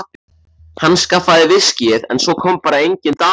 Hann skaffaði viskíið en svo kom bara engin dama.